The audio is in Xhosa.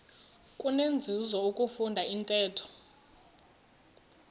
kunenzuzo ukufunda intetho